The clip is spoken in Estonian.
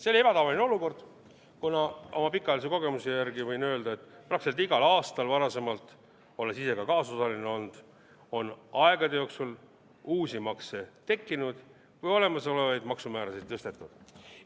See oli ebatavaline olukord, kuna oma pikaajalise kogemuse järgi võin öelda, et varem praktiliselt igal aastal – olles ise ka kaasosaline olnud –on uusi makse tekkinud või olemasolevaid maksumäärasid tõstetud.